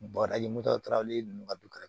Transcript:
ninnu ka du ka